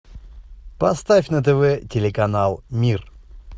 поставь на тв телеканал мир